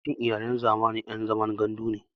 Yawancin Iyalan zamani ƴan zaman gandu ne